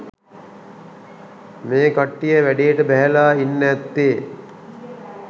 මේ කට්ටිය වැඩේට බැහැලා ඉන්න ඇත්තේ.